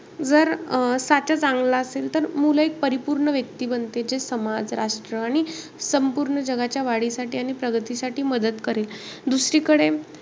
जर अं साचा चांगला असेल तर मुलं एक परिपूर्ण व्यक्ती बनते. जे समाज, राष्ट्र आणि संपूर्ण जगाच्या वाढीसाठी आणि प्रगतीसाठी मदत करेल. दुसरीकडे,